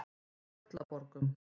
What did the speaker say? Tröllaborgum